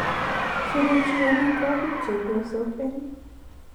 suruchi amitwokik chepyosok eng